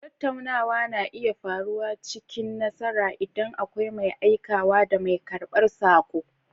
Tattaunawa na iya faruwa cikin nasara, inda akwai mai aikawa da mai karɓar saƙo.